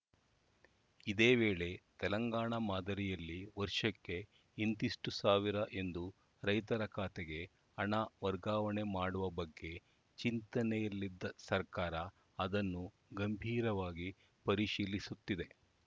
ಇದೇ ವೇಳೆ ತೆಲಂಗಾಣ ಮಾದರಿಯಲ್ಲಿ ವರ್ಷಕ್ಕೆ ಇಂತಿಷ್ಟುಸಾವಿರ ಎಂದು ರೈತರ ಖಾತೆಗೆ ಹಣ ವರ್ಗಾವಣೆ ಮಾಡುವ ಬಗ್ಗೆ ಚಿಂತನೆಯಲ್ಲಿದ್ದ ಸರ್ಕಾರ ಅದನ್ನು ಗಂಭೀರವಾಗಿ ಪರಿಶೀಲಿಸುತ್ತಿದೆ